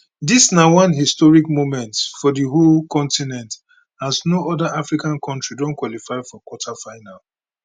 dis na one historic moment for di whole continent as no oda africa kontri don qualify for quarter final